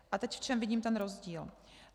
A teď v čem vidím ten rozdíl.